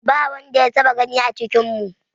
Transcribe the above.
Ba wanda ya taɓa gani a cikinmu.